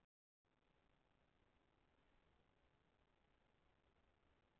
Milti dýra bólgnar upp og skemmist af völdum dreps.